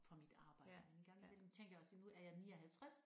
For mit arbejde men en gang imellem tænker jeg også nu er jeg 59